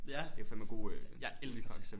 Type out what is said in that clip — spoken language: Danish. Ja. Jeg elsker Tessa